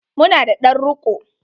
Mu na da ɗan riko.